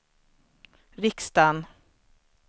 riksdagen